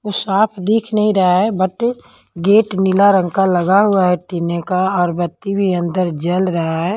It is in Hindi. साफ दिख नहीं रहा हैं बट गेट नीला रंग का लगा हुआ हैं टिने का और बत्ती भी अंदर जल रहा हैं।